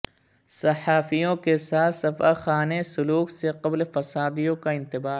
صحافیوں کے ساتھ سفاکانہ سلوک سے قبل فسادیوں کا انتباہ